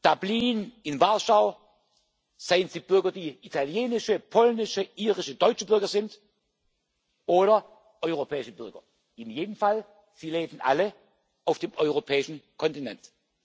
Dublin, in Warschau, seien es italienische, polnische, irische, deutsche Bürger oder europäische Bürger in jedem Fall leben sie alle auf dem europäischen Kontinent.